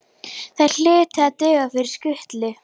Þær hlutu að duga fyrir skutlu.